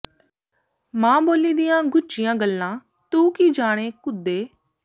ਮਾੰ ਬੋਲੀ ਦੀਆਂ ਗੁੱਝੀਆਂ ਗੱਲਾਂ ਤੂੰ ਕੀ ਜਾਣੇਂ ਘੁੱਦੇ